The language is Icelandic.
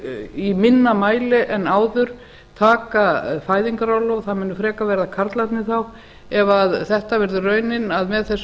í minna mæli en áður taka fæðingarorlof það munu frekar verða karlarnir þá ef þetta verður raunin að með þessu